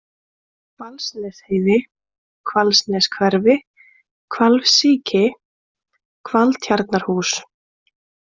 Hvalsnesheiði, Hvalsneshverfi, Hvalsíki, Hvaltjarnarhús